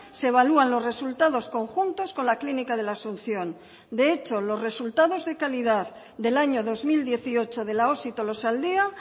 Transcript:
se evalúan los resultados conjuntos con la clínica de la asunción de hecho los resultados de calidad del año dos mil dieciocho de la osi tolosaldea